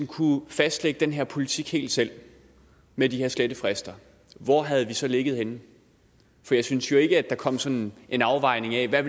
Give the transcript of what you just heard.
kunnet fastlægge den her politik helt selv med de her slettefrister hvor havde vi så ligget henne for jeg synes jo ikke at der kom sådan en afvejning af hvad